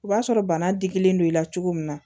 O b'a sɔrɔ bana digilen don i la cogo min na